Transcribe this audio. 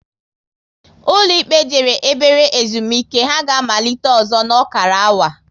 Ụlọ ikpe jere ebere ezumike, ha ga amalite ọzọ n'okara awa